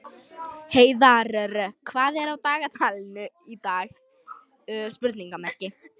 Heiðarr, hvað er á dagatalinu í dag?